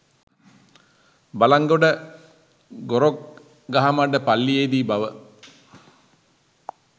බළන්ගොඩ ගොරොක්ගහමඩ පල්ලියේ දී බව